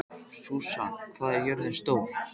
Susan, hvað er jörðin stór?